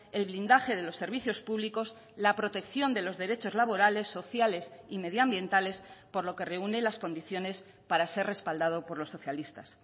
el blindaje de los servicios públicos la protección de los derechos laborales sociales y medioambientales por lo que reúne las condiciones para ser respaldado por los socialistas